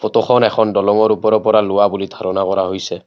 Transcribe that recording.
ফটোখন এখন দলঙৰ ওপৰৰ পৰা লোৱা বুলি ধাৰণা কৰা হৈছে।